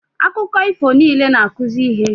Akụkọ ifo niile na-akụzi ihe